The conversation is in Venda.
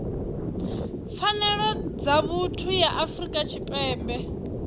pfanelo dza vhuthu ya afrika tshipembe